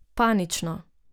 Panično.